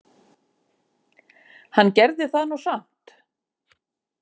Hann gerði það nú samt.